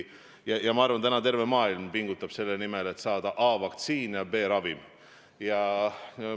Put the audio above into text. Ma arvan, et täna terve maailm pingutab selle nimel, et saada a) vaktsiin ja b) ravim.